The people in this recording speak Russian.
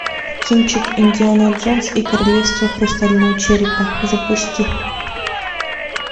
кинчик индиана джонс и королевство хрустального черепа запусти